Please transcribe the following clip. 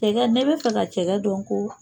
Cɛgɛ ne be fɛ ka cɛgɛ don ko